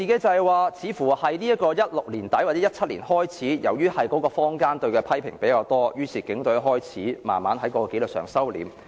由2016年年底或2017年年初開始，由於坊間對警隊的批評較多，於是警隊開始慢慢在紀律上收斂。